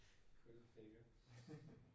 Krydser fingre